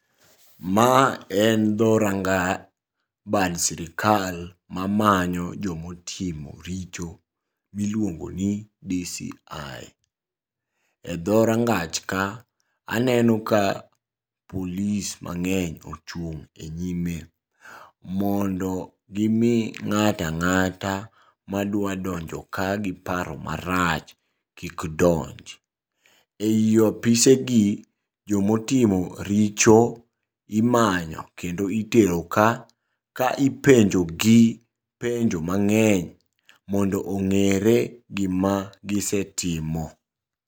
Ma en dho ranga bad sirikal mamanyo jomotimo richo miluogoni DCI. E dho rangach ka aneno ka polis mang'eny ochung' e nyime mondo gimi ng'at ang'ata madwa donjo ka gi paro marach kik donj. Ei apisegi jomotimo richo imanyo kendo iteroka, ka ipenjogi penjo mang'eny mondo ong'ere gima gisetimo.